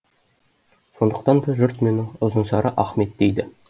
сондықтан да жұрт мені ұзынсары ахмет дейді